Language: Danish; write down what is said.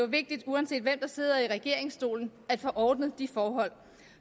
vigtigt uanset hvem der sidder i regeringsstolen at få ordnet de forhold